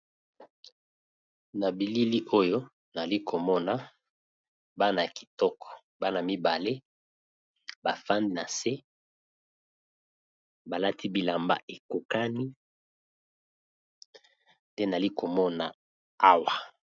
na bilili oyo nali komona bana kitoko bana mibale bafandi na nse balati bilamba ekokani te nali komona awa